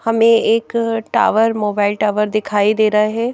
हमें एक tower mobile tower दिखाई दे रहा है।